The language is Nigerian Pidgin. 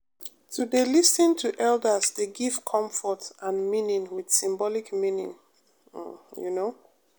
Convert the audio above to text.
to dey lis ten to elders dey give comfort and meaning with symbolic meaning um you know